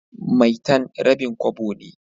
maitan rabin Kobo ne.